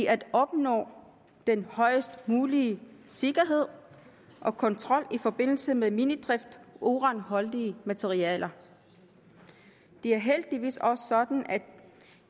at opnå den højest mulige sikkerhed og kontrol i forbindelse med minedrift af uranholdige materialer det er heldigvis også sådan